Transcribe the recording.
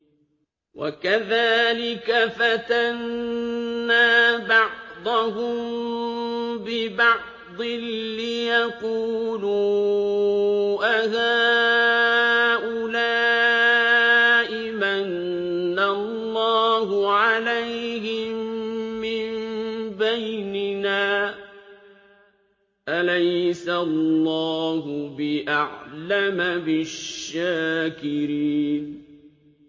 وَكَذَٰلِكَ فَتَنَّا بَعْضَهُم بِبَعْضٍ لِّيَقُولُوا أَهَٰؤُلَاءِ مَنَّ اللَّهُ عَلَيْهِم مِّن بَيْنِنَا ۗ أَلَيْسَ اللَّهُ بِأَعْلَمَ بِالشَّاكِرِينَ